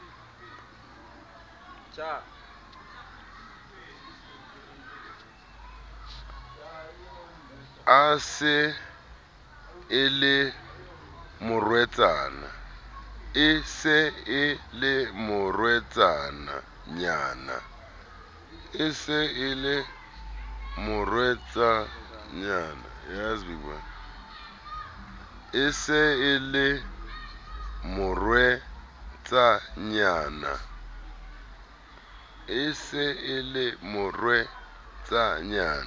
e se e le morwetsanyana